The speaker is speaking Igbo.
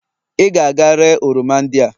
ị ga-aga ree oroma ndị a!